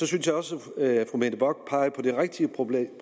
synes også at fru mette bock peger på det rigtige problem